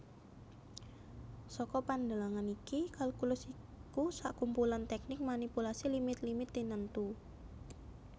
Saka pandelengan iki kalkulus iku sakumpulan tèknik manipulasi limit limit tinentu